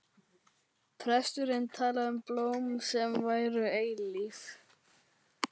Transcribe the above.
Presturinn talaði um blóm sem væru eilíf.